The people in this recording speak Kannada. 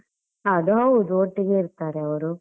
ಅದು ಹೌದು ಒಟ್ಟಿಗೆ ಇರ್ತಾರೆ ಅವರು.